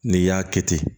N'i y'a kɛ ten